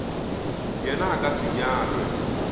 yena a ka se nyalwe